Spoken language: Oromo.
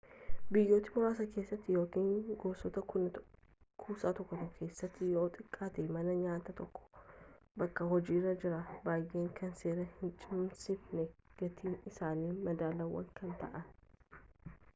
biyyoota muraasa keessatti yookiin gosoota kuusaa tokko tokko keessatti yoo xiqqaate mana nyaata tokkotu bakka hojiirra jira baay'inaan kan seera hincimsineefi gatiin isaanii madaalawaa kan ta'e